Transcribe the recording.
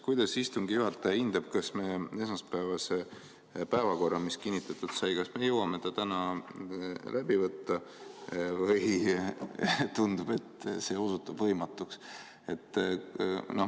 Kuidas istungi juhataja hindab, kas me esmaspäevase päevakorra, mis kinnitatud sai, jõuame täna läbi võtta või tundub, et see osutub võimatuks?